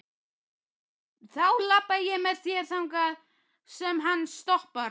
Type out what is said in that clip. Þá labba ég með þér þangað sem hann stoppar.